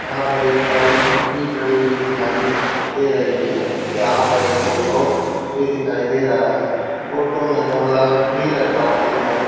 यहां पर एक बाइक भी खड़ी दिखाई दे रही है यहां पर एक ऑटो भी दिखाई दे रहा है ऑटो में गमला भी रखा हुआ दिखाइ--